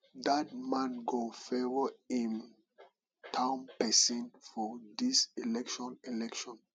dat man go favour im town person for dis election election